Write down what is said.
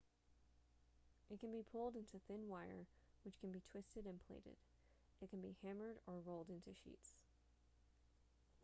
it can be pulled into thin wire which can be twisted and plaited it can be hammered or rolled into sheets